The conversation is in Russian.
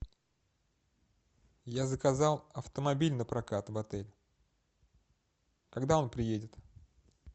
я заказал автомобиль на прокат в отеле когда он приедет